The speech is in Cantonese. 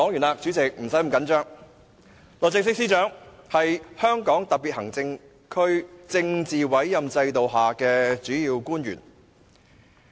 律政司司長是香港特別行政區政府政治委任制度下的主要官員。